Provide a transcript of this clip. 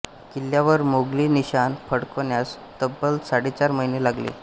किल्ल्यावर मोगली निशाण फडकण्यास तब्बल साडेचार महिने लागले